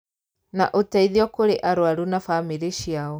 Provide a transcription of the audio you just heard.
Na ũteithio kũrĩ arũaru na bamĩrĩ ciao